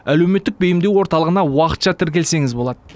әлеуметтік бейімдеу орталығына уақытша тіркелсеңіз болады